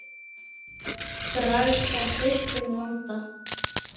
Bragð af bitrum landa.